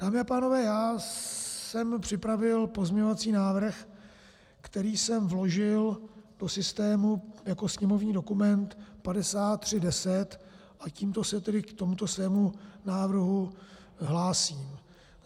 Dámy a pánové, já jsem připravil pozměňovací návrh, který jsem vložil do systému jako sněmovní dokument 5310, a tímto se tedy k tomu svému návrhu hlásím.